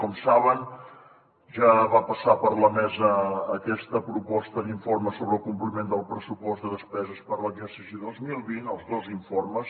com saben ja va passar per la mesa aquesta proposta d’informe sobre el compliment del pressupost de despeses per l’exercici dos mil vint els dos informes